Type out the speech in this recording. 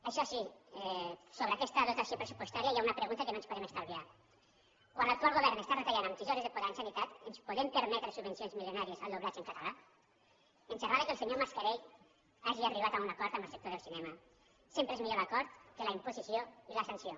això sí sobre aquesta dotació pressupostària hi ha una pregunta que no ens podem estalviar quan l’actual govern està retallant amb tisores de podar la sanitat ens podem permetre subvencions milionàries al doblatge en català ens agrada que el senyor mascarell hagi arribat a un acord amb el sector del cinema sempre és millor l’acord que la imposició i la sanció